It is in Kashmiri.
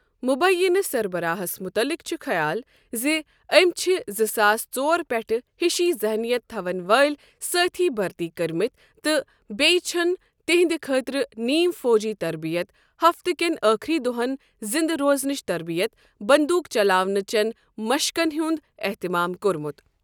مُبینہٕ سربَراہس مُتعلِق چُھ خیال زِ أمۍ چھ زٕ ساس ژور پٮ۪ٹھٕ ہِشی ذحنیت تھاون وٲلۍ سٲتھی بٔھرتی کٔرمٕتۍ تہٕ بیٚیہِ چھٗن تِہندِ خٲطرٕ نیم فوجی تربِیت ہفتہٕ کٮ۪ن ٲخری دۄہن زِنٛدٕ روزنٕچ تربِیت، بٔنٛدوٗق چلاونٕہ چین مشقن ہنٛد احتمام کوٚرمت۔